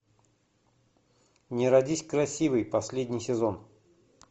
не родись красивой последний сезон